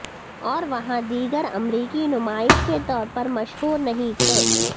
اور وہاں دیگر امریکی نمائش کے طور پر مشہور نہیں تھے